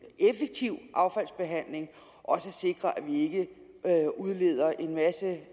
effektiv affaldsbehandling også sikrer at vi ikke udleder en masse